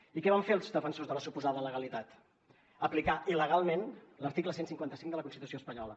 i què van fer els defensors de la suposada legalitat aplicar il·legalment l’article cent i cinquanta cinc de la constitució espanyola